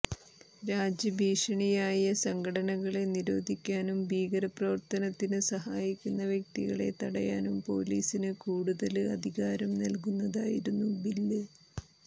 രാജ്യഭീഷണിയായ സംഘടനകളെ നിരോധിക്കാനും ഭീകരപ്രവര്ത്തനത്തിന് സഹായിക്കുന്ന വ്യക്തികളെ തടയാനും പൊലീസിന് കൂടുതല് അധികാരം നല്കുന്നതായിരുന്നു ബില്